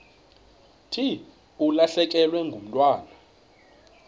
thi ulahlekelwe ngumntwana